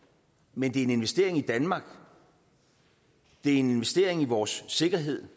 men det er en investering i danmark det er en investering i vores sikkerhed